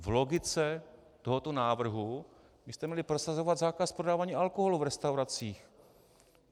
V logice tohoto návrhu byste měli prosazovat zákaz prodávání alkoholu v restauracích.